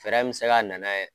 Fɛɛrɛ min bɛ se ka nana ye.